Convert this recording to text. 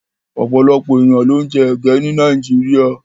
Ọ̀pọ̀lọpọ̀ èèyàn ló ń jẹ ege ní Nàìjíríà.